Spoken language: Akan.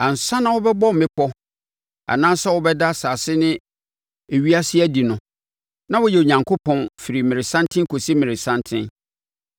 Ansa na wɔrebɛbɔ mmepɔ anaasɛ worebɛda asase ne ewiase adi no, na woyɛ Onyankopɔn firi mmerɛsanten kɔsi mmerɛsanten.